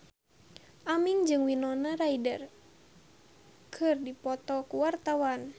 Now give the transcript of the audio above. Aming jeung Winona Ryder keur dipoto ku wartawan